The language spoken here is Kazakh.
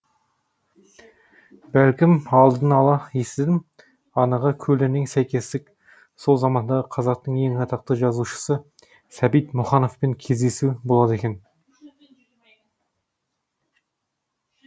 бәлкім алдынала естідім анығы көлденең сәйкестік сол замандағы қазақтың ең атақты жазушысы сәбит мұқановпен кездесу болады екен